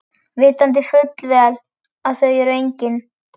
Vitandi fullvel að þau eru engin.